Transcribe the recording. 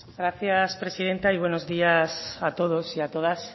gracias presidenta y buenos días a todos y a todas